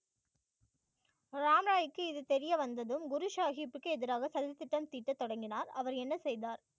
ராம்ராய்க்கு இது தெரிய வந்ததும் குரு சாஹிப்புக்கு எதிராக சதித்திட்டம் தீட்ட தொடங்கினார் அவர் என்ன செய்தார்